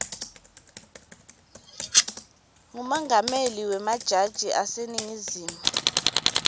ngumengameli wemajaji aseningizimu